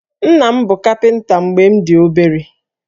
Nna m bụ kapịnta mgbe m dị obere